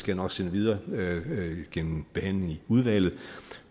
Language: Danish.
jeg nok sende videre gennem behandlingen i udvalget